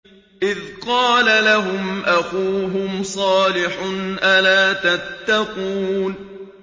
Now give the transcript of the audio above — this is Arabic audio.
إِذْ قَالَ لَهُمْ أَخُوهُمْ صَالِحٌ أَلَا تَتَّقُونَ